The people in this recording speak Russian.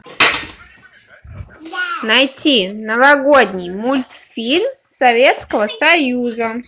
найти новогодний мультфильм советского союза